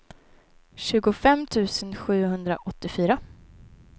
tjugofem tusen sjuhundraåttiofyra